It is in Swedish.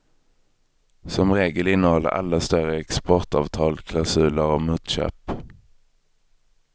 Som regel innehåller alla större exportavtal klausuler om motköp.